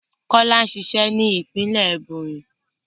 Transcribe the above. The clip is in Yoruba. Kọlá ń ṣiṣẹ́ ní ìpínlẹ̀ Ẹ̀bònyì